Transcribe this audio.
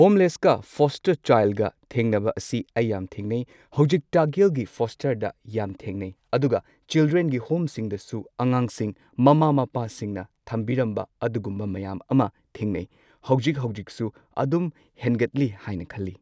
ꯍꯣꯝꯂꯦꯁꯀ ꯐꯣꯁꯇꯔꯗ ꯆꯥꯏꯜꯒ ꯊꯦꯡꯅꯕ ꯑꯁꯤ ꯑꯩ ꯌꯥꯝ ꯊꯦꯡꯅꯩ꯫ ꯍꯧꯖꯤꯛ ꯇꯥꯛꯌꯦꯜꯒꯤ ꯐꯣꯁꯇꯔ ꯌꯥꯝ ꯊꯦꯡꯅꯩ ꯑꯗꯨꯒ ꯆꯤꯜꯗ꯭ꯔꯦꯟꯒꯤ ꯍꯣꯝꯁꯤꯡꯗꯁꯨ ꯑꯉꯥꯡꯁꯤꯡ ꯃꯃꯥ ꯃꯄꯥꯁꯤꯡꯅ ꯊꯝꯕꯤꯔꯝꯕ ꯑꯗꯨꯒꯨꯝꯕ ꯃꯌꯥꯝ ꯑꯃ ꯊꯦꯡꯅꯩ꯫ ꯍꯧꯖꯤꯛ ꯍꯧꯖꯤꯛꯁꯨ ꯑꯗꯨꯝ ꯍꯦꯟꯒꯠꯂꯤ ꯍꯥꯏꯅ ꯈꯜꯂꯤ꯫